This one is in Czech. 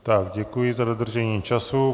Tak děkuji za dodržení času.